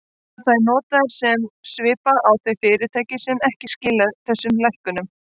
Verða þær notaðar sem svipa á þau fyrirtæki sem ekki skila þessum lækkunum?